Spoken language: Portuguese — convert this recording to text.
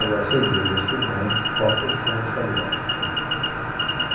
Agora, sem dúvida, os que mais tocam são os familiares sempre.